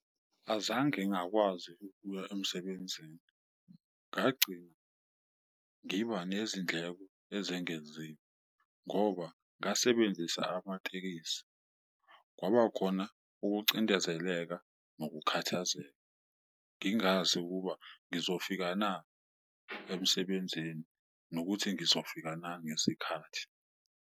Azange ngakwazi ukuya emsebenzini, ngagcina ngiba nezindleko ezengeziwe ngoba ngasebenzisa amatekisi kwabakhona ukucindezeleka nokukhathazeka. Ngingazi ukuba ngizofika na emsebenzini, nokuthi ngizofika na ngesikhathi.